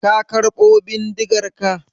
Ka karɓo bindigarka?